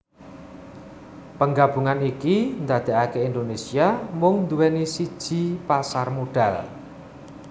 Penggabungan iki ndadekake Indonesia mung nduweni siji pasar modal